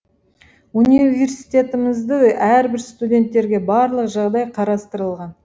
университетімізде әрбір студенттерге барлық жағдай қарастырылған